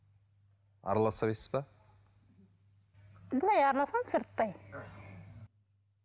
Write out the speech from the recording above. араласпайсыз ба былай араласамын сырттай